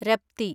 Rapti